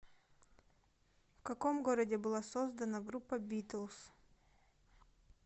в каком городе была создана группа битлз